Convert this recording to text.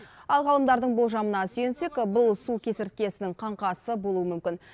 ал ғалымдардың болжамына сүйенсек бұл су кесірткесінің қаңқасы болуы мүмкін